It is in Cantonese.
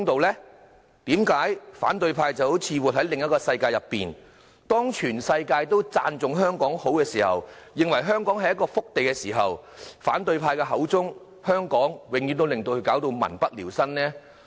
為何反對派好像活在另一個世界中，當全世界都讚頌香港好，認為香港是一個福地時，反對派口中的香港卻總是民不聊生？